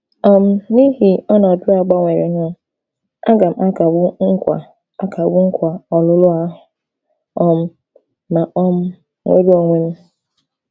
um N’ihi ọnọdụ a gbanwerenụ, àga m akagbu nkwa akagbu nkwa ọlụlụ ahụ um ma um nwere onwe m?